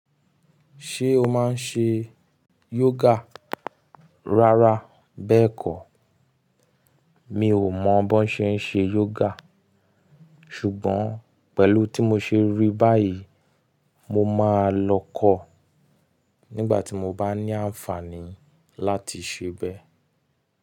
Ṣé o máa ń ṣe yoga? Rárá bẹ́ẹ̀kọ́. Mi ò mọ bí wón ṣe ń ṣe yoga, ṣùgbọ́n pẹ̀lú tí mo ṣe rí báyìí, mo máa lọ kọ̀ nígbà tí mo bá ní àǹfààní láti ṣẹbẹ́.